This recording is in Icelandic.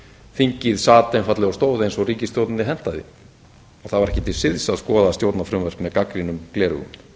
þingið sat einfaldlega og stóð eins og ríkisstjórninni hentaði og það var ekki til siðs að skoða stjórnarfrumvörp með gagnrýnum gleraugum